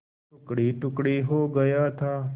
टुकड़ेटुकड़े हो गया था